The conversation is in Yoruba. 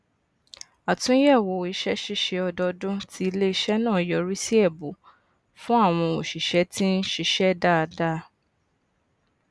wọn rún àlà èrè iléisé náà nípa gbígbé owó lórí ohun èlò iṣẹ láàrín aìrọjàgbéwọlé